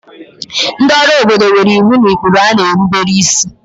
ndị ọrụ obodo nwere iwu na ụkpụrụ ha na-erubere isi